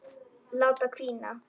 Láta hvína.